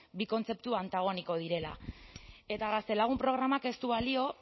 bi kontzeptu antagoniko direla eta gaztelagun programak